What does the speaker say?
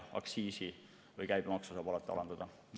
Aktsiisi või käibemaksu saab alati alandada.